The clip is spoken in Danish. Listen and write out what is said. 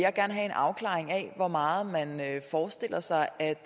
afklaring af hvor meget man forestiller sig at